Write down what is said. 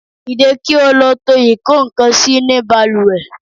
Dìde kí ó lọ tó ikokansi ni baluwe